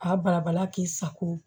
A barabala k'i sago